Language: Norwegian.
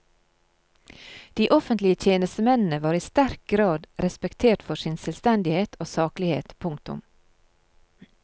De offentlige tjenestemennene var i sterk grad respektert for sin selvstendighet og saklighet. punktum